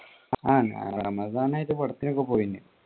ആ ഞാൻ റമസാൻ ആയിട്ട് പടത്തിനൊക്കെ പോയിനി.